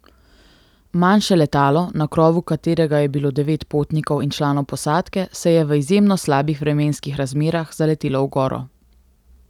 Manjše letalo, na krovu katerega je bilo devet potnikov in članov posadke se je v izjemno slabih vremenskih razmerah zaletelo v goro.